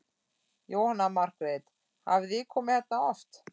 Jóhanna Margrét: Hafið þið komið hérna oft?